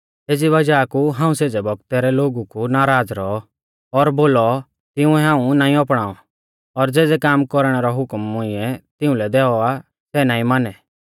एज़ी वज़ाह कु हाऊं सेज़ै बौगतै रै लोगु कु नाराज़ रौऔ और बोलौ तिंउऐ हाऊं नाईं अपणाऔ और ज़ेज़ै काम कौरणै रौ हुकम मुइंऐ तिउंलै दैऔ आ सै नाईं मानै